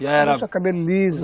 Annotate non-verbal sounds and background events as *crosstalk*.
*unintelligible* cabelo liso.